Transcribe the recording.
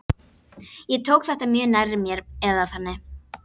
Ég tók þetta mjög nærri mér eða þannig.